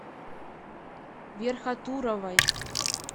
верхотуровой